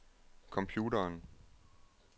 computeren